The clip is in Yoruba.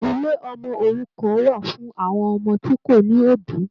Ilé ọmọ òrukàn wà fún àwọn ọmọ tí kò ní obì